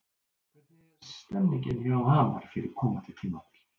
Hvernig er stemningin hjá Hamar fyrir komandi tímabil?